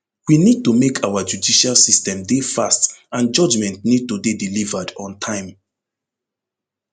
we need to make our judicial system dey fast and judgement need to dey delivered on time